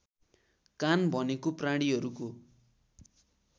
कान भनेको प्राणीहरूको